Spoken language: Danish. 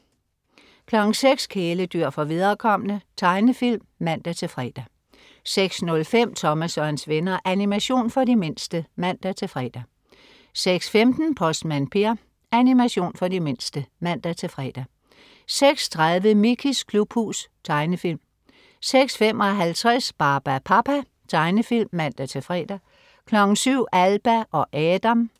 06.00 Kæledyr for viderekomne. Tegnefilm (man-fre) 06.05 Thomas og hans venner. Animation for de mindste(man-fre) 06.15 Postmand Per. Animation for de mindste (man-fre) 06.30 Mickeys klubhus. Tegnefilm 06.55 Barbapapa . Tegnefilm (man-fre) 07.00 Alba og Adam